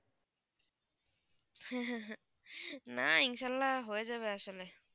না ইনশাল্লাহ হয়ে যাবে আসলে